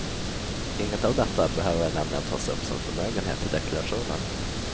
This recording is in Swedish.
Inget av detta behöver nämligen tas upp som förmögenhet i deklarationen.